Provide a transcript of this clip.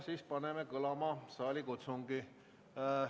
Siis paneme kõlama saalikutsungi.